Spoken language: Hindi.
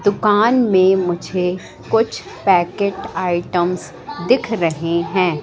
दुकान में मुझे कुछ पैकेट आइटम्स दिख रहे हैं।